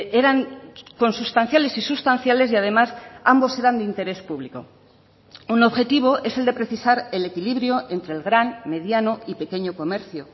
eran consustanciales y sustanciales y además ambos eran de interés público un objetivo es el de precisar el equilibrio entre el gran mediano y pequeño comercio